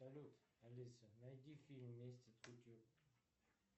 салют алиса найди фильм месть от кутюр